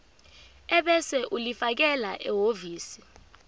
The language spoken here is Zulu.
ebese ulifakela ehhovisi